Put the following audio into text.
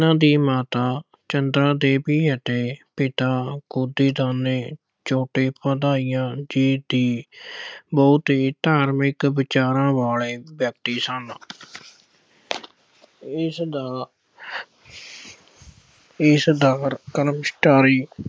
ਚਟੋਪਾਧਿਆਇ ਜੀ ਦੀ ਬਹੁਤ ਹੀ ਧਾਰਮਿਕ ਵਿਚਾਰਾਂ ਵਾਲੇ ਵਿਅਕਤੀ ਸਨ। ਇਸਦਾ ਇਸਦਾ